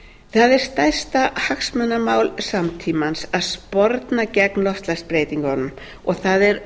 er stærsta hagsmunamál samtímans að sporna gegn loftslagsbreytingunum og það er